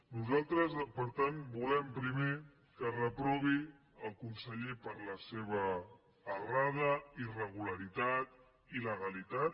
nosaltres per tant volem primer que es reprovi el conseller per la seva errada irregularitat il·legalitat